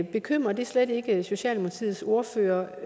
bekymrer det slet ikke socialdemokratiets ordfører